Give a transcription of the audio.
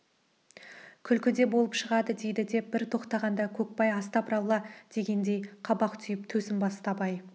күлкі де болып шығады дейді деп бір тоқтағанда көкбай астапыралла дегендей қабақ түйіп төсін басты абай